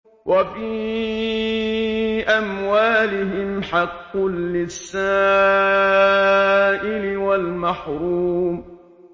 وَفِي أَمْوَالِهِمْ حَقٌّ لِّلسَّائِلِ وَالْمَحْرُومِ